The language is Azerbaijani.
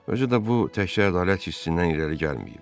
Özü də bu təkcə ədalət hissindən irəli gəlməyib.